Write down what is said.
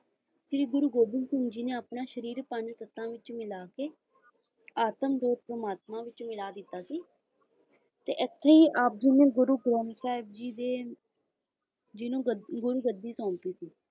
ਕੀ ਗੁਰੂ ਗੋਬਿੰਦ ਸਿੰਘ ਜੀ ਨੇ ਆਪਣਾ ਸਰੀਰ ਪੰਜ ਤੱਤਾਂ ਵਿੱਚ ਮਿਲਾ ਕੇ ਆਤਮ ਜੋਤ ਪਰਮਾਤਮਾ ਵਿੱਚ ਮਿਲਾ ਦਿੱਤਾ ਗੁਰੂ ਸਾਬ ਜੀ ਨੇ ਗੁਰੂ ਗ੍ਰੰਥ ਸਾਹਿਬ ਜੀ ਦੇ ਜੀ ਨੂੰ ਗੱਦੀ ਸੌਂਪੀ